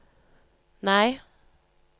nei